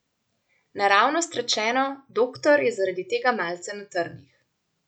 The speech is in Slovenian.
Naravnost rečeno, doktor je zaradi tega malce na trnih.